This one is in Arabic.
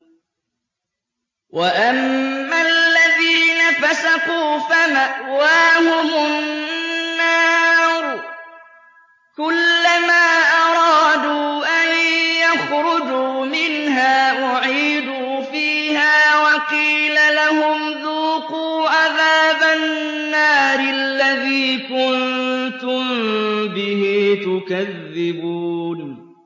وَأَمَّا الَّذِينَ فَسَقُوا فَمَأْوَاهُمُ النَّارُ ۖ كُلَّمَا أَرَادُوا أَن يَخْرُجُوا مِنْهَا أُعِيدُوا فِيهَا وَقِيلَ لَهُمْ ذُوقُوا عَذَابَ النَّارِ الَّذِي كُنتُم بِهِ تُكَذِّبُونَ